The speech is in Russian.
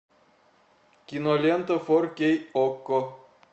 кинолента фор кей окко